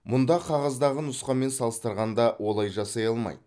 мұнда қағаздағы нұсқамен салыстырғанда олай жасай алмайды